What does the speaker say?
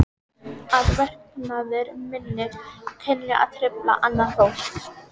Að verknaður minn kunni að trufla annað fólk.